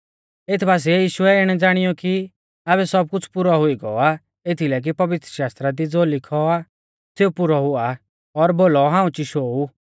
एथ बासिऐ यीशुऐ इणै ज़ाणीऔ कि आबै सबकुछ़ पुरौ हुई गौ आ एथीलै कि पवित्रशास्त्रा दी ज़ो लिखौ आ सेऊ पुरौ हुआ और बोलौ हाऊं चिशौ ऊ